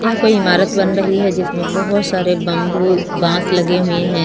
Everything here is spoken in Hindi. यहां कोई इमारत बन रही है जिसमें बहोत सारे बंबू बांस लगे हुए हैं।